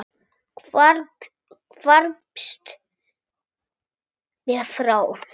Hvarfst mér frá.